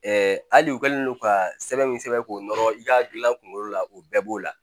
hali u kɛlen don ka sɛbɛn min sɛbɛn k'o nɔrɔ i ka gilan kunkolo la o bɛɛ b'o la